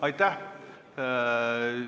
Aitäh!